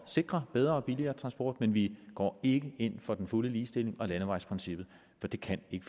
sikre bedre og billigere transport men vi går ikke ind for den fulde ligestilling og landevejsprincippet for der kan ikke